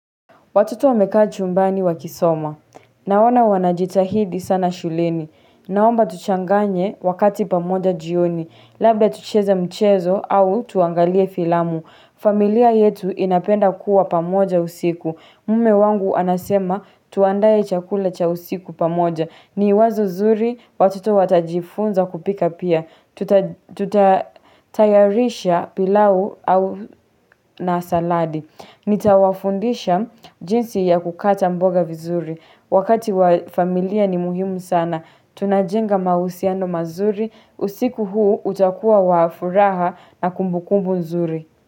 Watoto wamekaa chumbani wakisoma. Naona wanajitahidi sana shuleni. Naomba tuchanganye wakati pamoja jioni. Labda tucheza mchezo au tuangalie filamu. Familia yetu inapenda kuwa pamoja usiku. Mme wangu anasema tuandae chakula cha usiku pamoja. Ni wazo zuri watoto watajifunza kupika pia. Tutatayarisha pilau au na saladi. Ya kukata mboga vizuri wakati wafamilia ni muhimu sana tunajenga mahusiano mazuri usiku huu utakuwa wa furaha na kumbukumbu nzuri.